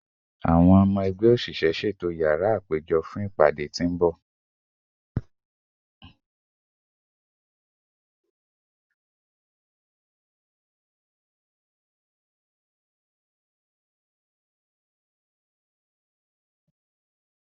Awọn ọmọ ẹgbẹ oṣiṣẹ, ṣeto yara apejọ fun ipade ti n bọ